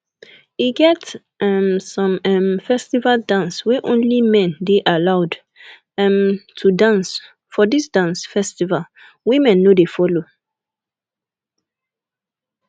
e get um some um festival dance wey only men dey allowed um to dance for this dance festival women no dey follow